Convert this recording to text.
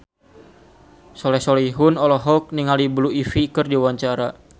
Soleh Solihun olohok ningali Blue Ivy keur diwawancara